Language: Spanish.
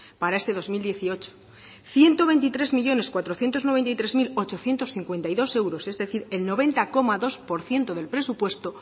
para este dos mil dieciocho ciento veintitrés millónes cuatrocientos noventa y tres mil ochocientos cincuenta y dos euros es decir el noventa coma dos por ciento del presupuesto